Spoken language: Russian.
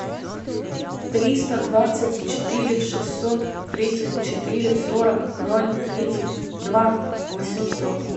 триста двадцать четыре шестьсот тридцать четыре сорок ноль тридцать два восемьсот